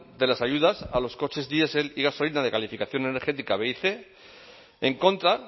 de las ayudas a los coches diesel y gasolina de calificación energética b y cien en contra